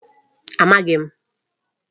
Amaghịkwa m.